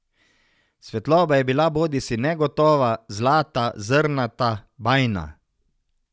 Svetloba je bila bodisi negotova, zlata, zrnata, bajna.